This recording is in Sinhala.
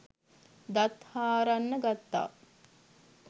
දත් හාරන්න ගත්තා.